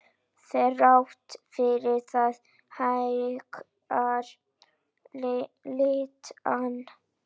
Þrátt fyrir það hækkar leigan.